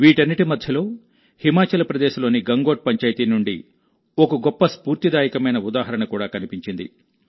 వీటన్నింటి మధ్యలోహిమాచల్ ప్రదేశ్లోని గంగోట్ పంచాయితీ నుండి ఒక గొప్ప స్ఫూర్తిదాయకమైన ఉదాహరణ కూడా కనిపించింది